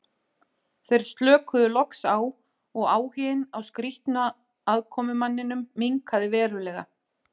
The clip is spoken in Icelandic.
Þeir slökuðu loks á og áhuginn á skrýtna aðkomumanninum minnkaði verulega.